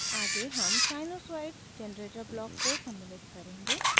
आगे हम sinusoid generator block को समिल्लित करेंगे